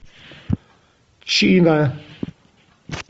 чина